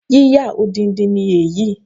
Yíyà odindi ni èyí